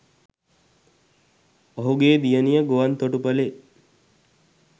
ඔහුගේ දියණිය ගුවන් තොටුපලෙ